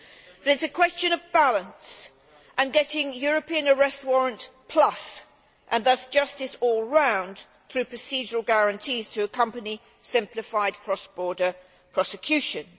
But it is question of balance and getting European Arrest Warrant plus', and thus justice all round, through procedural guarantees to accompany simplified cross border prosecutions.